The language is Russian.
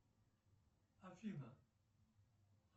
афина